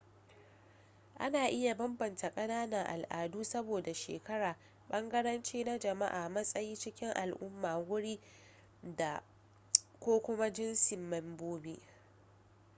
ana iya bambanta kananan al’adu saboda shekara bangarenci na jama’a matsayi cikin al’umma guri da/ko kuma jintsin membobi